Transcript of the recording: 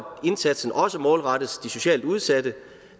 indsatsen også målrettes de socialt udsatte